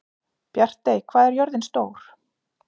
Bjartey, hvað er jörðin stór?